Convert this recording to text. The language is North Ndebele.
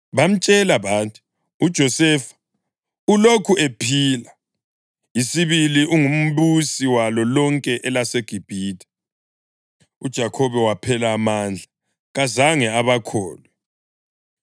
Bamtshela bathi, “UJosefa ulokhu ephila! Isibili ungumbusi walo lonke elaseGibhithe.” UJakhobe waphela amandla; kazange abakholwe.